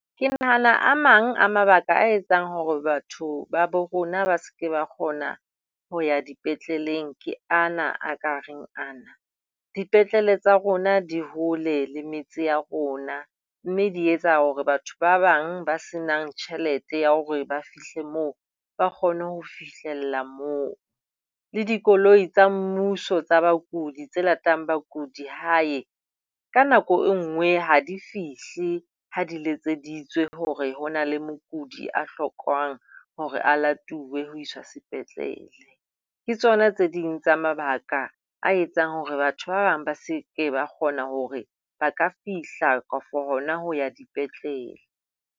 Ke nahana a mang a mabaka a etsang hore batho ba bo rona ba se ke ba kgona ho ya dipetleleng ke ana a ka reng ana. Dipetlele tsa rona di hole le meetse ya rona, mme di etsa hore batho ba bang ba senang tjhelete ya hore ba fihle moo ba kgone ho fihlela moo. Le dikoloi tsa mmuso tsa bakudi tse latelang bakudi hae, ka nako e nngwe ha di fihle ha di letseditswe hore ho na le mokudi a hlokang hore a latuwe ho iswa sepetlele. Ke tsona tse ding tsa mabaka a etsang hore batho ba bang ba se ke ba kgona hore ba ka fihla kapa hona ho ya dipetlele.